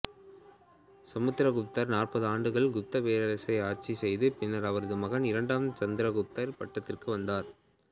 சமுத்திரகுப்தர் நாற்பது ஆண்டுகள் குப்தப் பேரரசை ஆட்சி செய்த பின்னர் அவரது மகன் இரண்டாம் சந்திரகுப்தர் பட்டத்திற்கு வந்தார்